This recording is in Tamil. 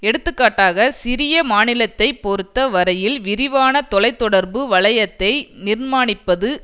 எடுத்துக்காட்டாக சிறிய மாநிலத்தை பொருத்த வரையில் விரிவான தொலை தொடர்பு வளையத்தை நிர்மாணிப்பது